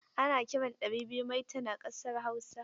Ana kiran ɗari biyu maitan a ƙasar Hausa.